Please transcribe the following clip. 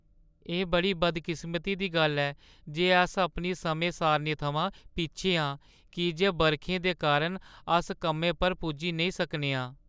एह् बड़ी बदकिस्मती दी गल्ल ऐ जे अस अपनी समें-सारणी थमां पिच्छें आं की जे बरखें दे कारण अस कम्मै पर पुज्जी नेईं सकने आं।